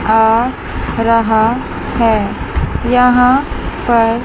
आ रहा है यहां पर--